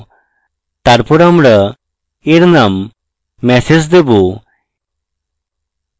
তারপর আমরা এর name message দেবো